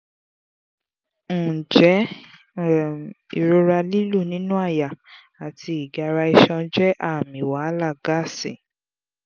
njẹ um irora lilu ninu àyà ati igara iṣan je aami wahala gaasi?